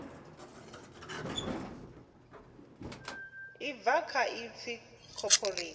ḽi bva kha ipfi cooperate